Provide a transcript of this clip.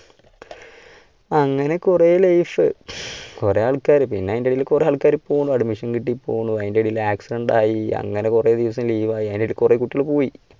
അങ്ങനെ കുറെ life. കുറെ ആൾക്കാര് പിന്നെ അതിന്റെ ഇടയില് കുറെ ആൾക്കാരെ admission കിട്ടി പോണു അതിൻറെ ഇടയിൽ accident ആയി അങ്ങനെ കുറെ ദിവസം leave ആയി, അതിനിടെ കുറെ കുട്ടികൾ പോയി.